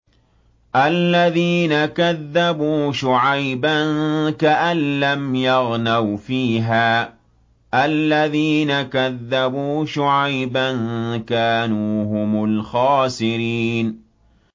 الَّذِينَ كَذَّبُوا شُعَيْبًا كَأَن لَّمْ يَغْنَوْا فِيهَا ۚ الَّذِينَ كَذَّبُوا شُعَيْبًا كَانُوا هُمُ الْخَاسِرِينَ